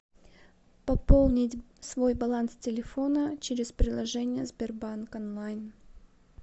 пополнить свой баланс телефона через приложение сбербанк онлайн